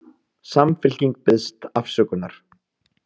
Samfylkingin biðst afsökunar